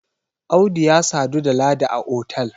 Audu ya sadu da Ladi a otal